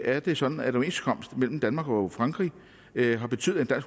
er det sådan at overenskomsten mellem danmark og frankrig har betydet at